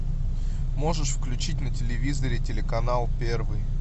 можешь включить на телевизоре телеканал первый